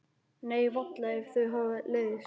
Nei, varla ef þau hafa leiðst.